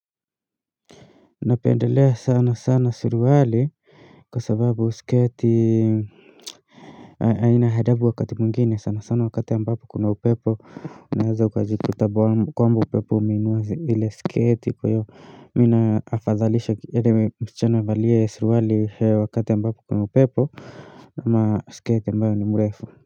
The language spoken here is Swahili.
Napendelea sana sana suruwali kwa sababu skati aina hadabu wakati mwingine sana sana wakati ambapo kuna upepo unaeza ukajiku ta kwamba upepo umeinua zi ile skati kwaiyo mina afadhalisha kiere msichana avalie suruwali wakati ambapo kuna upepo Nama skati ambayo ni mrefu.